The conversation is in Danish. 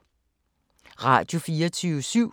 Radio24syv